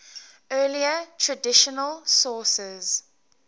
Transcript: earlier traditional sources